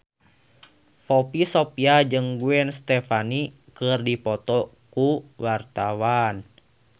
Poppy Sovia jeung Gwen Stefani keur dipoto ku wartawan